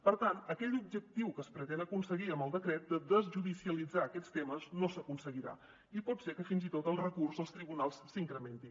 per tant aquell objectiu que es pretén aconseguir amb el decret de desjudicialitzar aquests temes no s’aconseguirà i pot ser que fins i tot el recurs als tribunals s’incrementi